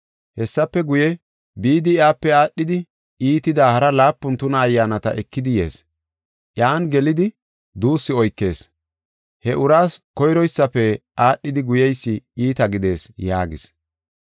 Hessafe guye, bidi iyape aadhidi iitida hara laapun tuna ayyaanata ekidi yees. Iyan gelidi duussu oykees. He uraas koyroysafe aadhidi guyeysi iita gidees” yaagis.